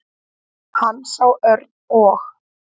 Hann sá Örn og